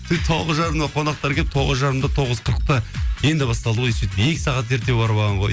сөйтіп тоғыз жарымда қонақтар келіп тоғыз жарымда тоғыз қырықта енді басталды ғой сөйтіп екі сағат ерте барып алған ғой